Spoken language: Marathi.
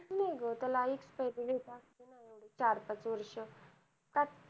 त्याला use नाही ग त्याला expiry date असती येवडी चार पाच वर्ष